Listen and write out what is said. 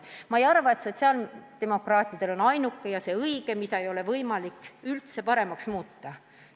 Ma ei arva, et sotsiaaldemokraatide väljapakutu on see ainuke õige, mida ei ole võimalik paremaks muuta.